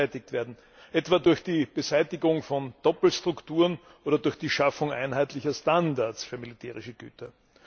beseitigt werden etwa durch die Beseitigung von Doppelstrukturen oder durch die Schaffung einheitlicher Standards für militärische Güter.